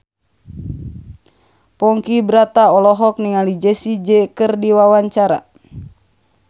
Ponky Brata olohok ningali Jessie J keur diwawancara